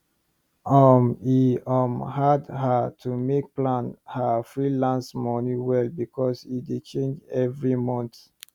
um e um hard her to make plan her freelance money well because e dey change every month